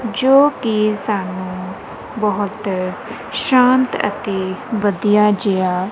ਜੋ ਕਿ ਸਾਨੂੰ ਬਹੁਤ ਸ਼ਾਂਤ ਅਤੇ ਵਧੀਆ ਜਿਹਾ--